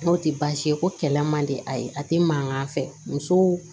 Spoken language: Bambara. N'o tɛ baasi ye ko kɛlɛ man di a ye a tɛ mankan fɛ muso